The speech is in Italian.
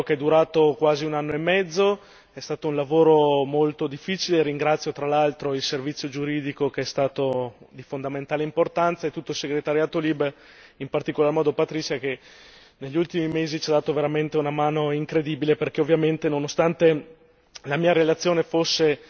È stato un lavoro durato quasi un anno e mezzo, è stato un lavoro molto difficile e ringrazio tra l'altro il Servizio giuridico, che è stato di fondamentale importanza e tutto il segretariato LIBE in particolar modo Patricia, che negli ultimi mesi ci ha dato veramente una mano incredibile, perché ovviamente nonostante la mia relazione fosse